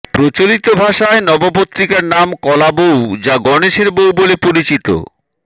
প্রচলিত ভাষায় নবপত্রিকার নাম কলাবউ যা গণেশের বউ বলে পরিচিত